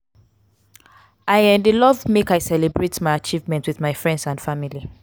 i um dey love make i celebrate my achievement with my friends and family.